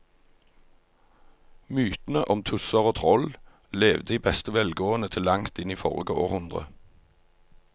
Mytene om tusser og troll levde i beste velgående til langt inn i forrige århundre.